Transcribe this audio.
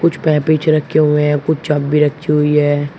कुछ पेपेंच रखे हुए हैं कुछ चाबी रखी हुई है।